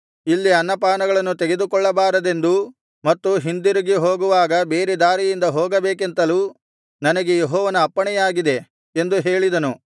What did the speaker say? ಇಲ್ಲಿ ಅನ್ನಪಾನಗಳನ್ನು ತೆಗೆದುಕೊಳ್ಳಬಾರದೆಂದೂ ಮತ್ತು ಹಿಂದಿರುಗಿ ಹೋಗುವಾಗ ಬೇರೆ ದಾರಿಯಿಂದ ಹೋಗಬೇಕೆಂತಲೂ ನನಗೆ ಯೆಹೋವನ ಅಪ್ಪಣೆಯಾಗಿದೆ ಎಂದು ಹೇಳಿದನು